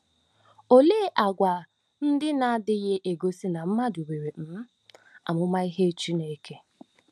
Olee àgwà ndị na - adịghị egosị na mmadụ nwere um amamihe Chineke?